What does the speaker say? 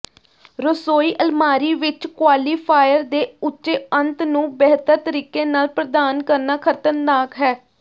ਰਸੋਈ ਅਲਮਾਰੀ ਵਿਚ ਕੁਆਲੀਫਾਇਰ ਦੇ ਉੱਚੇ ਅੰਤ ਨੂੰ ਬਿਹਤਰ ਤਰੀਕੇ ਨਾਲ ਪ੍ਰਦਾਨ ਕਰਨਾ ਖ਼ਤਰਨਾਕ ਹੈ